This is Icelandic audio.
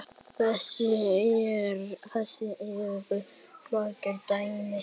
Þess eru mörg dæmi.